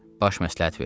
Baş məsləhət verdi.